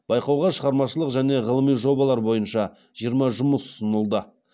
байқауға шығармашылық және ғылыми жобалар бойынша жиырма жұмыс ұсынылды